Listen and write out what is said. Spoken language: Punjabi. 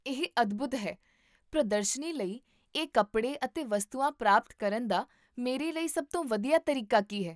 ਇਹ ਅਦਭੁਤ ਹੈ ਪ੍ਰਦਰਸ਼ਨੀ ਲਈ ਇਹ ਕੱਪੜੇ ਅਤੇ ਵਸਤੂਆਂ ਪ੍ਰਾਪਤ ਕਰਨ ਦਾ ਮੇਰੇ ਲਈ ਸਭ ਤੋਂ ਵਧੀਆ ਤਰੀਕਾ ਕੀ ਹੈ?